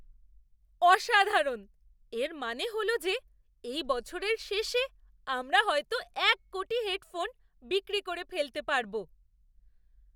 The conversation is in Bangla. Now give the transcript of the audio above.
অসাধারণ! এর মানে হল যে এই বছরের শেষে আমরা হয়তো এক কোটি হেডফোন বিক্রি করে ফেলতে পারব!